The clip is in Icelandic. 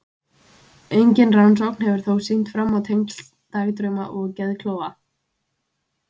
engin rannsókn hefur þó sýnt fram á tengsl dagdrauma og geðklofa